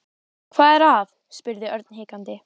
Hvað er að? spurði Örn hikandi.